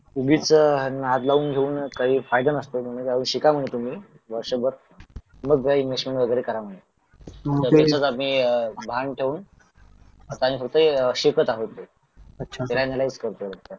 उगीच नाद लावून घेऊन काही फायदा नसतो तुम्ही राहुन शिका म्हणे तुम्ही वर्षभर मग इन्व्हेस्टमेंट वगैरे करा म्हणे भान ठेवून आता आम्ही फक्त शिकत आहोत